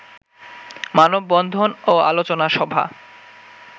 মানববন্ধন ও আলোচনা সভা